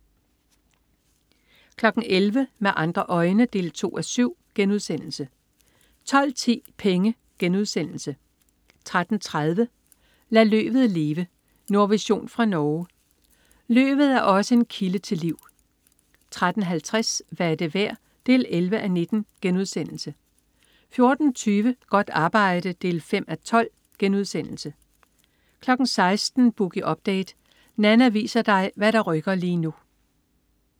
11.00 Med andre øjne 2:7* 12.10 Penge* 13.30 Lad løvet leve. Nordvision fra Norge. Løvet er også en kilde til liv 13.50 Hvad er det værd? 11:19* 14.20 Godt arbejde 5:12* 16.00 Boogie Update. Nanna viser dig hvad der rykker lige nu